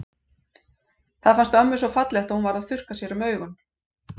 Það fannst ömmu svo fallegt að hún varð að þurrka sér um augun.